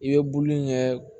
I bɛ bulu in kɛ